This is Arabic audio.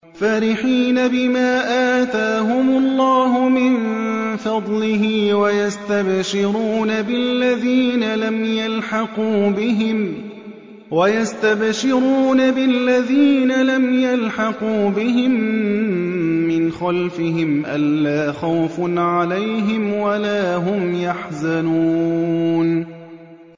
فَرِحِينَ بِمَا آتَاهُمُ اللَّهُ مِن فَضْلِهِ وَيَسْتَبْشِرُونَ بِالَّذِينَ لَمْ يَلْحَقُوا بِهِم مِّنْ خَلْفِهِمْ أَلَّا خَوْفٌ عَلَيْهِمْ وَلَا هُمْ يَحْزَنُونَ